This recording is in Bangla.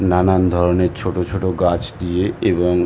নানান ধরণের ছোট ছোট গাছ দিয়ে এবং--